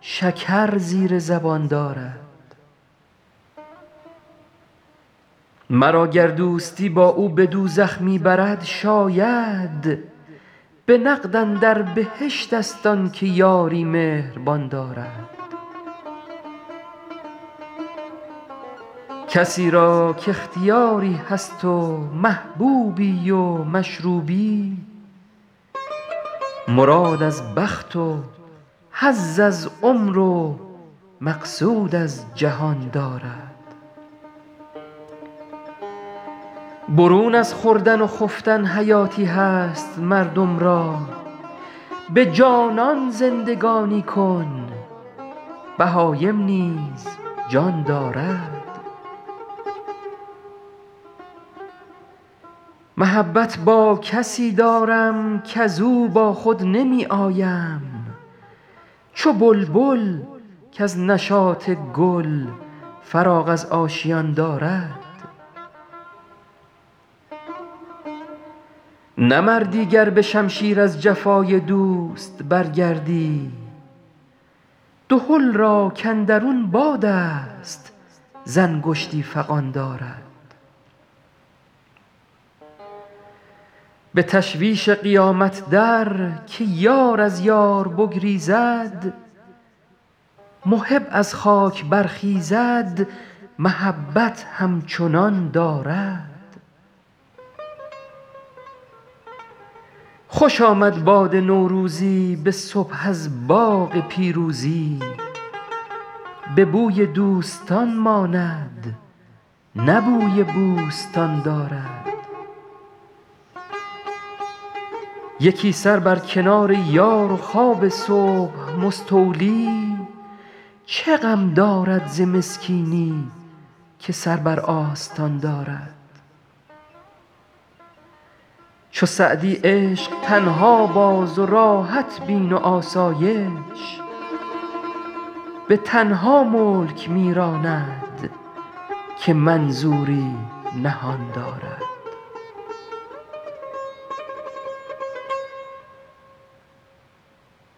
شکر زیر زبان دارد مرا گر دوستی با او به دوزخ می برد شاید به نقد اندر بهشت ست آن که یاری مهربان دارد کسی را کاختیاری هست و محبوبی و مشروبی مراد از بخت و حظ از عمر و مقصود از جهان دارد برون از خوردن و خفتن حیاتی هست مردم را به جانان زندگانی کن بهایم نیز جان دارد محبت با کسی دارم کز او با خود نمی آیم چو بلبل کز نشاط گل فراغ از آشیان دارد نه مردی گر به شمشیر از جفای دوست برگردی دهل را کاندرون باد است ز انگشتی فغان دارد به تشویش قیامت در که یار از یار بگریزد محب از خاک برخیزد محبت همچنان دارد خوش آمد باد نوروزی به صبح از باغ پیروزی به بوی دوستان ماند نه بوی بوستان دارد یکی سر بر کنار یار و خواب صبح مستولی چه غم دارد ز مسکینی که سر بر آستان دارد چو سعدی عشق تنها باز و راحت بین و آسایش به تنها ملک می راند که منظوری نهان دارد